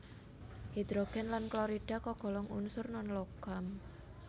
Hidrogen lan klorida kagolong unsur non logam